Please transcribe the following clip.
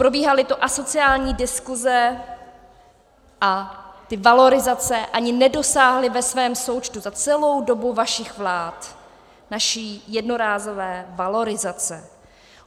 Probíhaly tu asociální diskuse a ty valorizace ani nedosáhly ve svém součtu za celou dobu vašich vlád naší jednorázové valorizace.